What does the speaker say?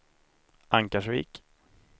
Ankarsvik